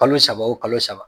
Kalo saba o kalo saba.